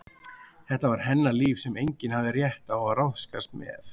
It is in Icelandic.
Þetta var hennar líf sem enginn hafði rétt á að ráðskast með.